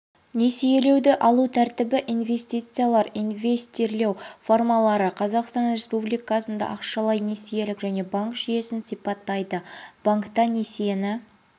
несиелеуді алу тәртібі инвестициялар инвестирлеу формалары қазақстан республикасында ақшалай несиелік және банк жүйесін сипаттайды банкта несиені